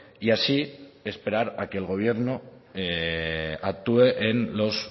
y así esperar a que el gobierno actúe en los